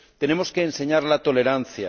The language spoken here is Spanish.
Tenemos que enseñar la tolerancia.